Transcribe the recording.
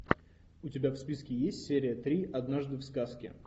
у тебя в списке есть серия три однажды в сказке